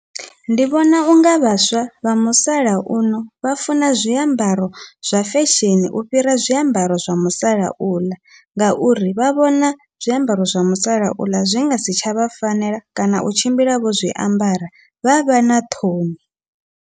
Ndi vhona unga vhaswa vha musalauno vha funa zwiambaro zwa fesheni u fhira zwiambaro zwa musalauḽa, ngauri vha vhona zwiambaro zwa musalauḽa zwi ngasi tsha vha fanela kana u tshimbila vho zwiambara vha vha na ṱhoni.